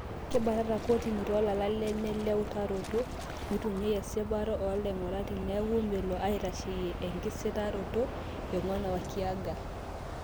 Kebatata kotini tolala lenye le utaroto o mitunyia esipata o laingurak teneeku melo aitasheyia ekisitaroto," Eiguan Wakiaga.